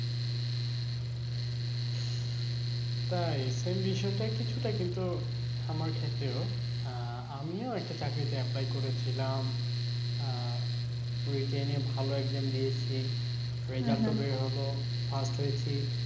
তাই? same বিষয়টা কিছুটা কিন্তু আমার ক্ষেত্রেও আহ আমিও একটা চাকরিতে apply করেছিলাম, written এ ভালো exam দিয়েছি। বের হলো, first হয়েছি।